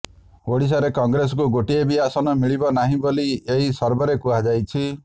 ଓଡ଼ିଶାରେ କଂଗ୍ରେସକୁ ଗୋଟିଏ ବି ଆସନ ମିଳିବ ନାହିଁ ବୋଲି ଏହି ସର୍ଭେରେ କୁହାଯାଇଛି